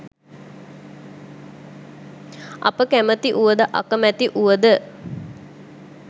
අප කැමති වුව ද අකමැති වුව ද